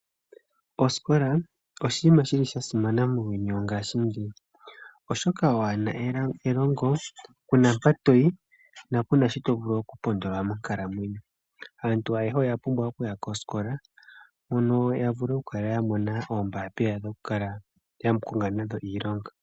Osikola oshiima shili shasimana muuyuni wo ngashingeyi oshoka waana elongo kuna mpa toyi na kuna sho tovulu okupondola monkalamwenyo. Aantu ayehe oya pumbwa okuya kosikola mpono yavule okula yamona oombapila dhokukala yakonga nadho iilonga.